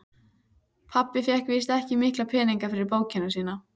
Pabbi fékk víst ekki mikla peninga fyrir bókina sína.